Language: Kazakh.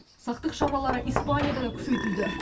сақтық шаралары испанияда да күшейтілді